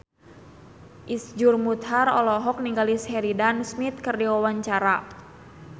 Iszur Muchtar olohok ningali Sheridan Smith keur diwawancara